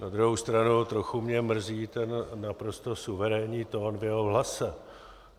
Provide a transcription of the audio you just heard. Na druhou stranu trochu mě mrzí ten naprosto suverénní tón v jeho hlase.